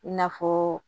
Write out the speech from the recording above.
I n'a fɔ